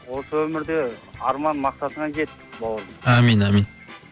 осы өмірде арман мақсатыңа жет бауырым амин амин